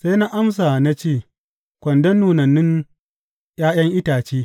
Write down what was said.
Sai na amsa na ce, Kwandon nunannun ’ya’yan itace.